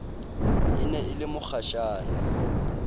e ne e le mokgashane